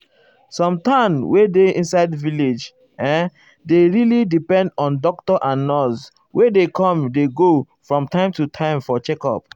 some town wey dey inside village[um]dey really depend on doctor and nurse wey dey com dey go from time to time for checkup.